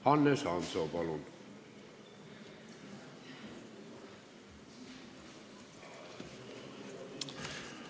Hannes Hanso, palun!